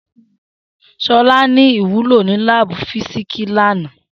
Shola ni iwulo ni laabu fisiksi lana.